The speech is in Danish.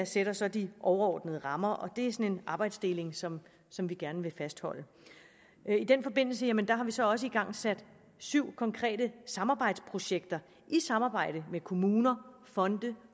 sætter så de overordnede rammer det er en arbejdsdeling som som vi gerne vil fastholde i den forbindelse har vi så også igangsat syv konkrete samarbejdsprojekter i samarbejde med kommuner fonde